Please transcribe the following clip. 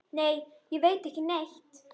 Nei, ég veit ekki neitt.